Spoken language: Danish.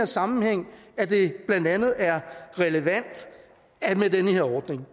sammenhæng at det blandt andet er relevant med den her ordning